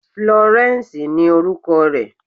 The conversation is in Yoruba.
Florence ni orúkọ rẹ̀.